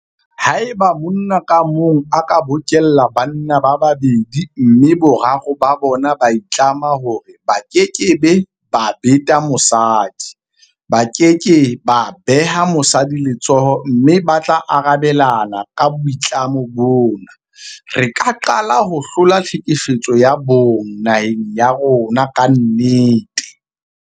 Haeba monna ka mong a ka bokella banna ba babedi mme boraro ba bona ba itlama hore ba keke ba beta mosadi, ba ke ke ba beha mosadi letsoho mme ba tla arabelana ka boitlamo bona, re ka qala ho hlola tlhekefetso ya bong naheng ya rona ka nnete.